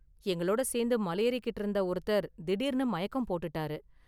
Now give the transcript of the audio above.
எங்களோட சேர்ந்து மலையேறிக்கிட்டு இருந்த ஒருத்தர் திடீர்னு மயக்கம் போட்டுட்டாரு.